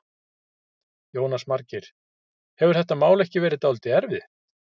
Jónas Margeir: Hefur þetta mál ekki verið dálítið erfitt?